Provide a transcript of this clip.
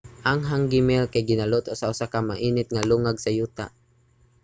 ang hangi meal kay ginaluto sa usa ka init nga lungag sa yuta